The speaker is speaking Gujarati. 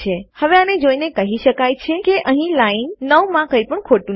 હવે આને જોઇને કહી શકાય છે કે અહીં લાઈન 9 માં કઈ પણ ખોટું નથી